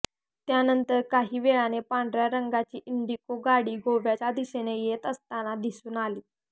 त्यानंतर काहीवेळाने पांढर्या रंगाची इंडिगो गाडी गोव्याच्या दिशेने येत असताना दिसून आली